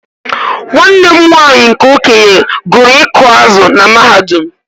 Nwanne m nwanyị nke okenye gụrụ ịkụ azụ̀ na mahadum.